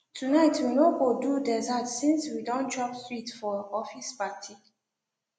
tonight we no go do dessert since we don chop sweet for office party